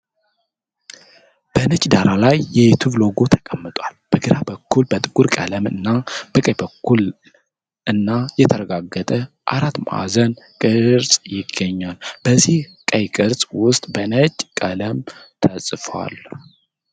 በነጭ ዳራ ላይ የዩቲዩብ ሎጎ ተቀምጧል። በግራ በኩል በጥቁር ቀለም እና በቀኝ በኩል ቀይ እና የተጠጋጋ አራት ማዕዘን ቅርፅ ይገኛል። በዚህ ቀይ ቅርፅ ውስጥ በነጭ ቀለም ተጽፏል።